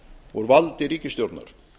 úr valdi ríkisstjórnar